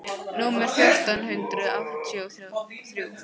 númer fjórtán hundruð áttatíu og þrjú.